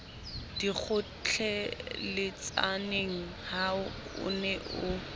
dikgotjheletsaneng ha o ne o